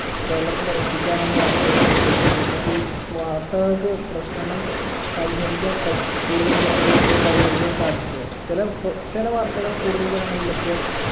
കേരളത്തിൽ എത്തിക്കാനാണ് വാർത്തകൾക്ക് പറ്റുമെങ്ങിലും പക്ഷെ ഈ വാർത്തകൾക്ക് പ്രശ്നങ്ങൾ പരിഹരിക്കാൻ പ കൂടുതൽ ജനങ്ങളിലെത്തിയ പരിഹരിക്കാൻ സാധിക്കുവോ ചില കൊ ചില വാർത്തകൾ കൂടുതൽ ജനങ്ങളിലെത്തിയാൽ